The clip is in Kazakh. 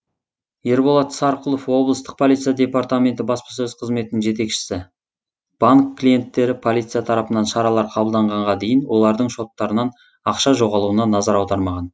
ерболат сарқұлов облыстық полиция департаменті баспасөз қызметінің жетекшісі банк клиенттері полиция тарапынан шаралар қабылданғанға дейін олардың шоттарынан ақша жоғалуына назар аудармаған